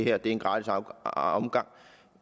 er en gratis omgang